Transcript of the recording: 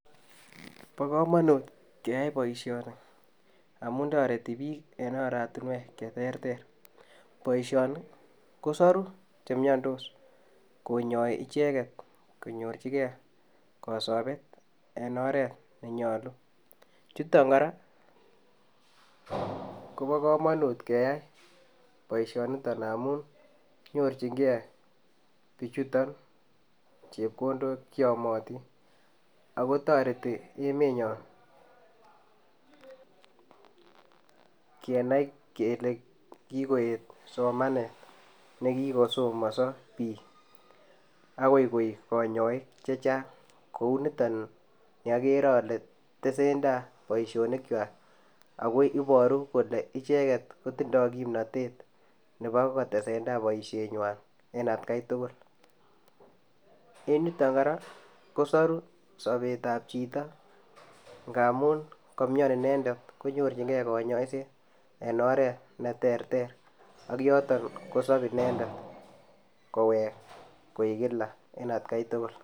Bo komonut keyai boishoni amun toreti bik en oratinwek cheterter, boishoni kosoru chemiondos konyoi icheket konyorchigee kosobet en oret nenyolu,. Chuton Koraa Kobo komonut keyai boishoniton amun nyorchingee bichuton chepkondok cheyomotin ako toreti emenyon kenai kele kikoyet somanet nekikosomonso bik akoi koik konyoik chechang kou niton ni okere ole tesentai boishonik kwak ako iboru kole icheket kotindoi kipnotet nebo kotesentai boishenywan en atgai tukul. En yuton Koraa kosoru sobet ab chito ngamun komioni inendet konyorchigee konyoiset en oret neterter ak en yoton kosob inendet kowek koik Kila en atgai tukul.